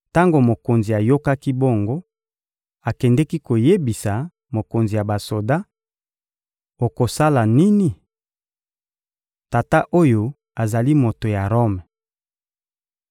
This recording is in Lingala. Tango mokonzi ayokaki bongo, akendeki koyebisa mokonzi ya basoda: — Okosala nini? Tata oyo azali moto ya Rome.